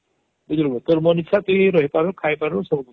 ବୁଝିଲୁ ତୋର ମନ ଇଛା ତୋର ରହିପାରବୁ ଖାଇପାରବୁ ବୁଝିଲୁ